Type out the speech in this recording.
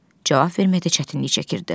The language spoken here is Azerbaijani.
Cavab verməkdə çətinlik çəkirdi.